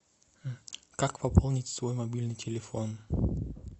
как пополнить свой мобильный телефон